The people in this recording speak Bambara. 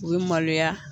U bɛ maloya